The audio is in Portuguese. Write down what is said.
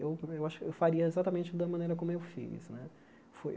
eu eu acho eu faria exatamente da maneira como eu fiz né. Foi